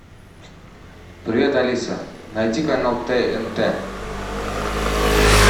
привет алиса найди канал тнт